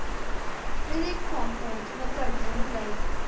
Friðrik kom út með börnin um leið.